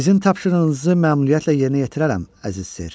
Sizin tapşırığınızı məmnuniyyətlə yerinə yetirərəm, əziz cənab.